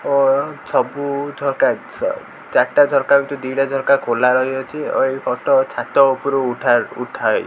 ଓ ସବୁ ଝରକା ଚ ଚାରଟା ଝରକା ଭିତରୁ ଦିଇଟା ଝରକା ଖୋଲା ରହିଅଛି ଓ ଏଇ ଫୋଟ ଛାତ ଉପରୁ ଉଠା ଉଠା ହୋଇ --